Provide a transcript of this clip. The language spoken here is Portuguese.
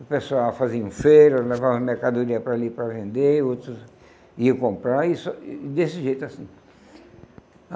O pessoal fazia em feira, levava mercadoria para ali para vender, outros iam comprar, isso desse jeito assim.